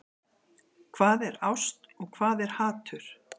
Hvað er ást og hvað er hatur?